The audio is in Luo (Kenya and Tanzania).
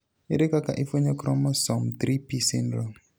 ere kaka ifwenyo chromosome 3p syndrome